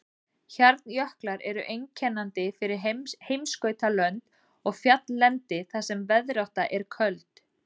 Hjarnjöklar eru einkennandi fyrir heimskautalönd og fjalllendi þar sem veðrátta er köld.